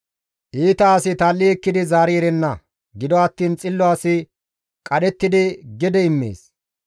Iita asi tal7i ekkidi zaari erenna; gido attiin xillo asi qadhettidi gede immees.